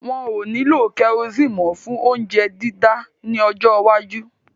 Wọn ò ní lo kerosini mó fún óuńjẹ dídá ní ọjọ́ iwájú